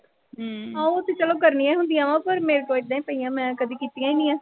ਹਾਂ ਉਹ ਤੇ ਚਲੋ ਕਰਨੀਆਂ ਹੀ ਹੁੰਦੀਆਂ ਵਾਂ, ਪਰ ਮੇਰੇ ਕੋਲ ਏਦਾਂ ਈ ਪਈਆਂ, ਮੈਂ ਕਦੇ ਕੀਤੀਆਂ ਨੀਂ ਆ।